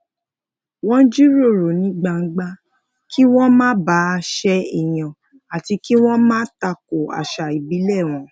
wón jiroro ní gbangba kí wón má bàa se eeyan ati ki won ma tako àṣà ìbílè wọn